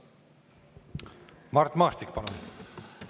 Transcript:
Mart Maastik, palun!